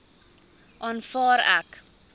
aanvaar ek